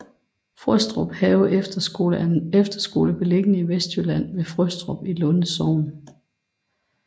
Frøstruphave Efterskole er en efterskole beliggende i Vestjylland ved Frøstrup i Lunde Sogn